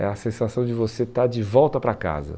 É a sensação de você estar de volta para casa.